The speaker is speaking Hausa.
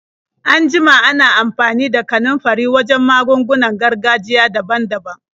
An jima ana amfani da kanunfari wajen magungunan gargajiya daban-daban.